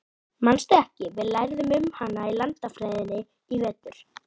Manstu ekki, við lærðum um hana í landafræðinni í vetur?